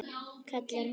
kallar hún.